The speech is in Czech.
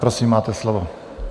Prosím, máte slovo.